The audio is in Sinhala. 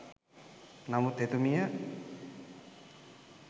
නමුත් එතුමිය